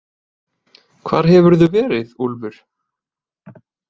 Hvar hefurðu verið, Úlfur?